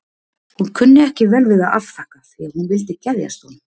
Hún kunni ekki við að afþakka því að hún vildi geðjast honum.